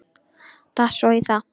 Datt svo í það.